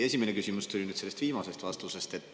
Esimene küsimus tuleneb sellest viimasest vastusest.